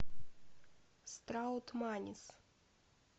страутманис